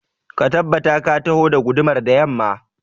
Ka tabbata ka taho da gudumar da yamma